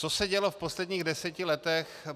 Co se dělo v posledních deseti letech?